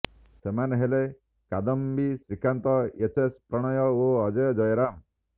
ସେମାନେ ହେଲେ କାଦମ୍ବି ଶ୍ରୀକାନ୍ତ ଏଚ୍ଏସ୍ ପ୍ରଣୟ ଓ ଅଜୟ ଜୟରାମ